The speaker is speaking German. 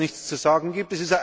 Weil es nichts zu sagen gibt.